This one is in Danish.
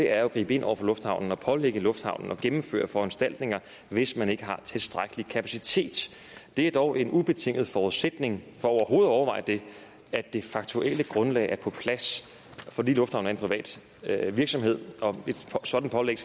er jo at gribe ind over for lufthavnen og pålægge lufthavnen at gennemføre foranstaltninger hvis man ikke har tilstrækkelig kapacitet det er dog en ubetinget forudsætning for overhovedet at overveje det at det faktuelle grundlag er på plads fordi lufthavnen er en privat virksomhed og et sådant pålæg